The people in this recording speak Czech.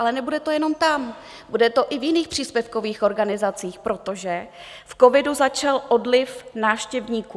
Ale nebude to jenom tam, bude to i v jiných příspěvkových organizacích, protože v covidu začal odliv návštěvníků.